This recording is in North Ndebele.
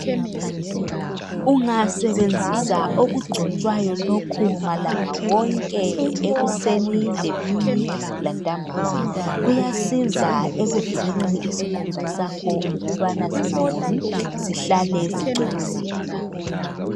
Ungasebenzisa okugcotshwayo lokhu amalanga onke ekuseni emini lantambama kuyanceda ekuvikeleni isikhumba sakho ukubana singawomi sihlale sicwebezela.